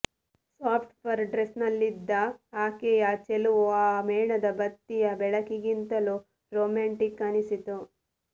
soft fur ಡ್ರೆಸ್ನಲ್ಲಿದ್ದ ಆಕೆಯ ಚೆಲುವು ಆ ಮೇಣದ ಬತ್ತಿಯ ಬೆಳಕಿಗಿಂತಲೂ ರೊಮ್ಯಾಂಟಿಕ್ ಅನಿಸಿತು